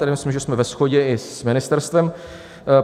Tady myslím, že jsme ve shodě i s ministerstvem.